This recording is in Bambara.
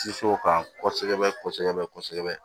Sinsin o kan kɔsɛbɛ kɔsɛbɛ kɔsɛbɛ